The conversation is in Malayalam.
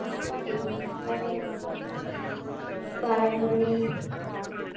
അഹ് പഴംപൊരി.